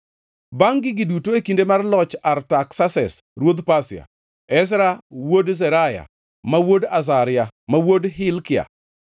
Bangʼ gigi duto, e kinde mar loch Artaksases ruodh Pasia, Ezra wuod Seraya, ma wuod Azaria, ma wuod Hilkia,